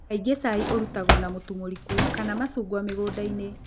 Kaingĩ cai ũrutagwo na mũtu mũriku kana macungwa mĩgũnda-inĩ.